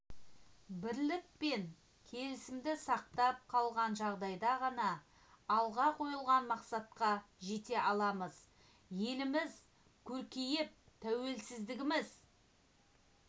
бірлік пен келісімді сақтап қалған жағдайда ғана алға қойылған мақсатқа жете аламыз еліміз көркейіп тәуелсіздігіміз